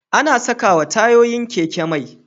Ana sakawa tayoyin keke mai